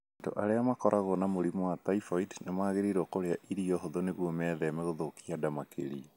Andũ arĩa makoragwo na mũrimũ wa typhoid nĩ magĩrĩirũo kũrĩa irio hũthũ nĩguo metheme gũthũkia nda makĩria.